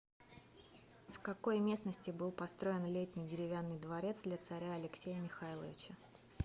в какой местности был построен летний деревянный дворец для царя алексея михайловича